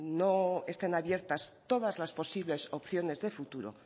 no estén abiertas todas las posibles opciones de futuro